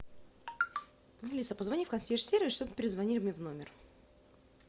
алиса позвони в консьерж сервис чтобы перезвонили мне в номер